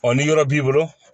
ni yɔrɔ b'i bolo